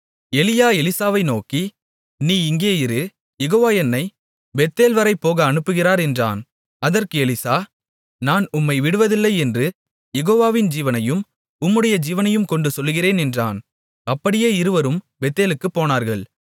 எலியா எலிசாவை நோக்கி நீ இங்கே இரு யெகோவா என்னைப் பெத்தேல்வரை போக அனுப்புகிறார் என்றான் அதற்கு எலிசா நான் உம்மை விடுவதில்லை என்று யெகோவாவின் ஜீவனையும் உம்முடைய ஜீவனையும் கொண்டு சொல்லுகிறேன் என்றான் அப்படியே இருவரும் பெத்தேலுக்குப் போனார்கள்